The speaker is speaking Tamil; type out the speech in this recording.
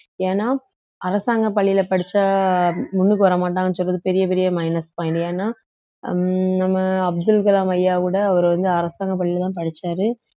ஏன்னா அரசாங்க பள்ளியில படிச்சா முன்னுக்கு வரமாட்டாங்கன்னு சொல்றது பெரிய பெரிய minus point ஏன்னா உம் நம்ம அப்துல் கலாம் ஐயா கூட அவரு வந்து அரசாங்க பள்ளியிலதான் படிச்சாரு